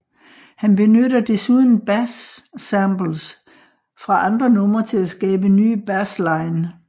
Han benytter desuden bas samples fra andre numre til at skabe nye bassline